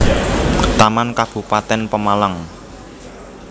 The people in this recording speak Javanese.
Taman Kabupatén Pemalang